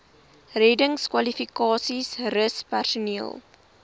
reddingskwalifikasies rus personeel